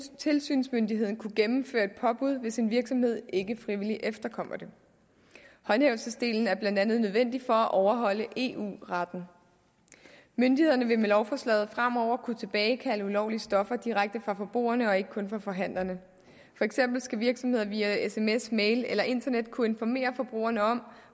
tilsynsmyndigheden kunne gennemføre et påbud hvis en virksomhed ikke frivilligt efterkommer det håndhævelsesdelen er blandt andet nødvendig for at overholde eu retten myndighederne vil med lovforslaget fremover kunne tilbagekalde ulovlige stoffer direkte fra forbrugerne og ikke kun fra forhandlerne virksomheder via sms mail eller internet kunne informere forbrugerne om